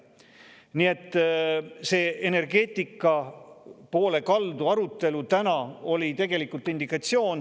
Nii et see energeetika poole kaldu olnud arutelu oli tegelikult indikatsioon.